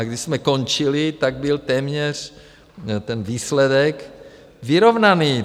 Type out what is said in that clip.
A když jsme končili, tak byl téměř ten výsledek vyrovnaný.